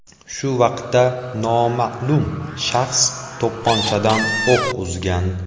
Shu vaqtda noma’lum shaxs to‘pponchadan o‘q uzgan.